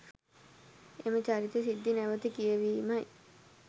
එම චරිත සිද්ධි නැවත කියවීමයි.